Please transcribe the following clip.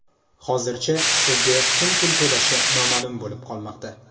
Hozircha, Sizga kim pul to‘lashi noma’lum bo‘lib qolmoqda.